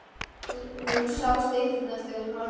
Hún sá stytturnar þegar hún horfði í spegilinn.